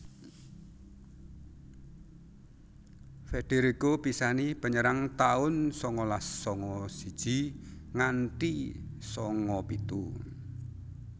Federico Pisani Penyerang taun sangalas sanga siji nganthi sanga pitu